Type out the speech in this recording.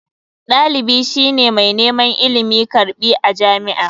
Dalibi shi ne mai neman ilimi/karbi a jami'a.